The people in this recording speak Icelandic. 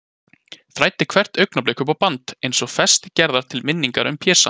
Þræddi hvert augnablik upp á band, eins og festi gerða til minningar um Pésa.